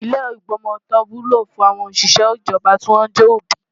Ilé ìgbọmọtọ́ wúlò fún àwọn òṣìṣẹ́ ijoba tí wọ́n jẹ́ òbí.